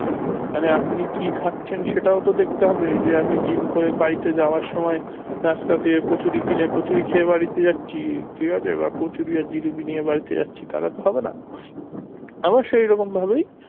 মানে আপনি কি খাচ্ছেন সেটাও তো দেখতে হবে যে আমি gym করে বাড়িতে যাওয়ার সময় রাস্তা থেকে কচুড়ি কিনে কচুড়ি খেয়ে বাড়িতে যাচ্ছি ঠিক আছে বা কচুড়ি আর জিলাপি নিয়ে বাড়িতে যাচ্ছি তাহলে তো হবেনা আবার সেইরকম ভাবেই